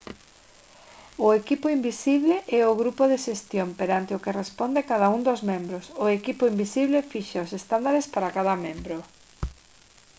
o «equipo invisible» é o grupo de xestión perante o que responde cada un dos membros. o equipo invisible fixa os estándares para cada membro